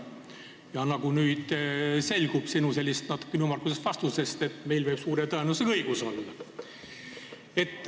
Ja nagu nüüd on selgunud sinu natukene ümmargusest vastusest, meil võib suure tõenäosusega õigus olla.